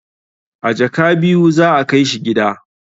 A jaka biyu za a kai shi gida